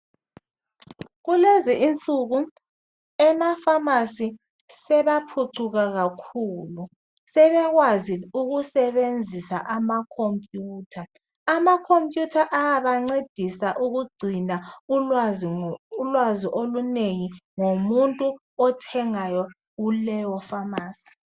Kulezi insuku emapharmacy sebaphucuka kakhulu .Sebekwazi ukusebenzisa amacomputer .Ama computer ayabancedisa ukugcina ulwazi olunengi ngomuntu othengayo kuleyo pharmacy .